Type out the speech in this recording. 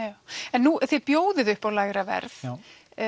en þið bjóðið upp á lægra verð já